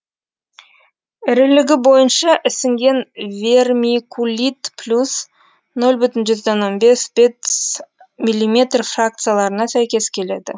ірілігі бойынша ісінген вермикулит плюс нөл бүтін жүзден он бес бес миллиметр фракцияларына сәйкес келеді